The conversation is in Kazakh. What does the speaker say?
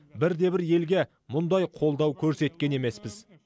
бірде бір елге мұндай қолдау көрсеткен емеспіз